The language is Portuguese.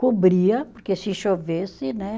Cobria, porque se chovesse, né?